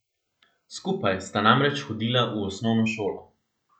Skupaj sta namreč hodila v osnovno šolo.